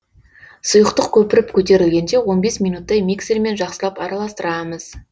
сұйықтық көпіріп көтерілгенше минуттай миксермен жақсылап араластырамыз